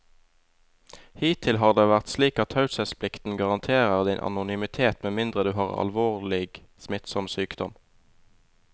Hittil har det vært slik at taushetsplikten garanterer din anonymitet med mindre du har en alvorlig, smittsom sykdom.